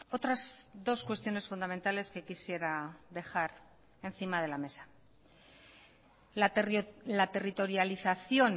otras dos cuestiones fundamentales que quisiera dejar encima de la mesa la territorialización